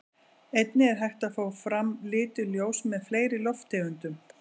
Einnig er hægt að fá fram lituð ljós með fleiri lofttegundum.